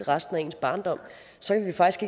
resten af barndommen